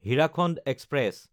Hirakhand express